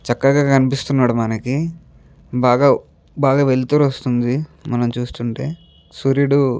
చక్కగా కనిపిస్తునడు మనకి బాగ బాగ వెళ్తురు వస్తుంది మనం చూస్తుంటే సూర్యుడు --